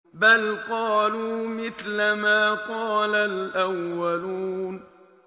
بَلْ قَالُوا مِثْلَ مَا قَالَ الْأَوَّلُونَ